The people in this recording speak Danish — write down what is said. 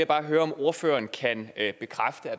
bare høre om ordføreren kan at